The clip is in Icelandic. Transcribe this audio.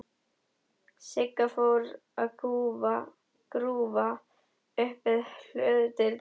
Sigga fór að grúfa upp við hlöðudyrnar.